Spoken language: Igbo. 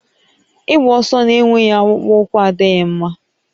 Ịgba ọsọ na-enweghị akpụkpọ ụkwụ adịghị mma